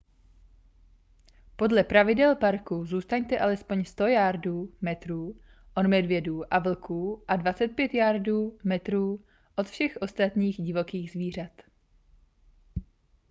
podle pravidel parku zůstaňte alespoň 100 yardů/metrů od medvědů a vlků a 25 yardů/metrů od všech ostatních divokých zvířat!